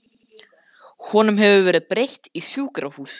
Honum hefur verið breytt í sjúkrahús.